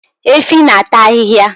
Efi na-ata ahịhịa